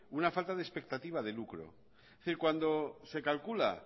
una falta de expectativa de lucro es decir cuando se calcula